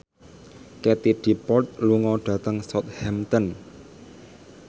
Katie Dippold lunga dhateng Southampton